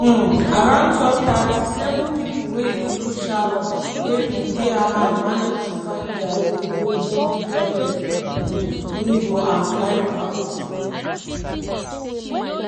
um around12:30 seven pipo wey include sharon wey bin dey hamal manage to find dia way go go di toilet um window and climb out.